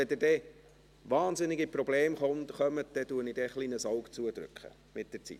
Wenn Sie dann arg Probleme bekommen, drücke ich ein Auge zu mit der Zeit.